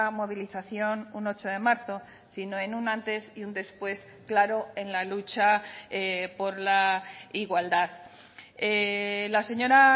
movilización un ocho de marzo sino en un antes y un después claro en la lucha por la igualdad la señora